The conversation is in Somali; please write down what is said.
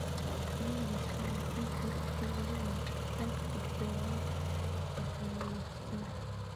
Layliga shaqaalaysiinta wuxuu ku lug leeyahay isdhexgalka u dhexeeya loo shaqeeyaha iyo codsadaha.